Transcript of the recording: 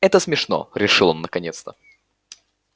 это смешно решил он наконец-то